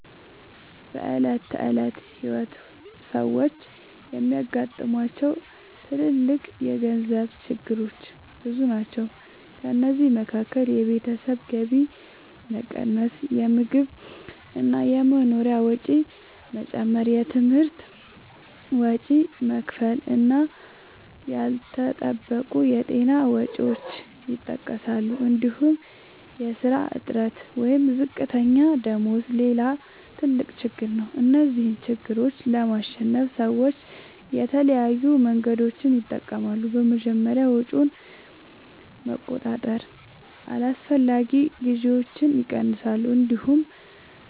በዕለት ተዕለት ሕይወት ሰዎች የሚያጋጥሟቸው ትልልቅ የገንዘብ ችግሮች ብዙ ናቸው። ከእነዚህ መካከል የቤተሰብ ገቢ መቀነስ፣ የምግብ እና የመኖሪያ ወጪ መጨመር፣ የትምህርት ወጪ መክፈል እና ያልተጠበቁ የጤና ወጪዎች ይጠቀሳሉ። እንዲሁም የሥራ እጥረት ወይም ዝቅተኛ ደመወዝ ሌላ ትልቅ ችግር ነው። እነዚህን ችግሮች ለማሸነፍ ሰዎች የተለያዩ መንገዶችን ይጠቀማሉ። በመጀመሪያ ወጪን በመቆጣጠር አላስፈላጊ ግዢዎችን ይቀንሳሉ። እንዲሁም